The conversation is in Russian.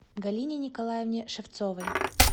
галине николаевне шевцовой